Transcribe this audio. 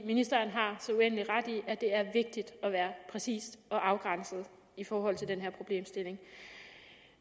ministeren har så uendelig ret i at det er vigtigt at være præcis og afgrænset i forhold til den her problemstilling